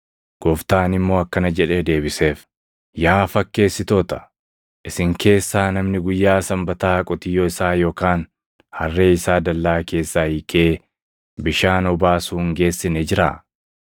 Gooftaan immoo akkana jedhee deebiseef; “Yaa fakkeessitoota! Isin keessaa namni guyyaa Sanbataa qotiyyoo isaa yookaan harree isaa dallaa keessaa hiikee bishaan obaasuu hin geessine jiraa?